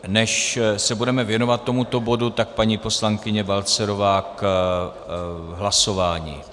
Než se budeme věnovat tomuto bodu, tak paní poslankyně Balcarová k hlasování.